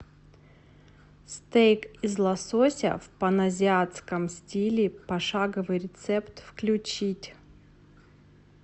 стейк из лосося в паназиатском стиле пошаговый рецепт включить